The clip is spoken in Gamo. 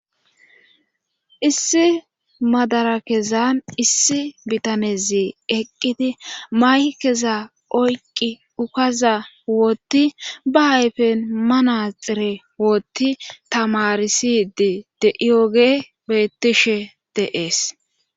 Issi madara kezan issi bitanezi eqqidi may keza oyqi ukaza wootti ba ayfen manaxire wootti tamarisidi de7iyoge bettishe deees.